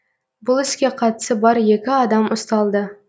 бұл іске қатысы бар екі адам ұсталды